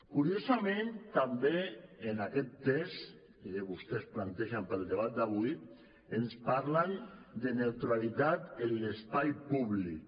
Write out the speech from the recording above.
curiosament també en aquest text i que vostès plantegen per al debat d’avui ens parlen de neutralitat en l’espai públic